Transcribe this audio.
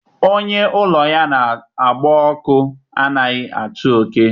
Onye ụlọ ya na-agba ọkụ anaghị achụ oke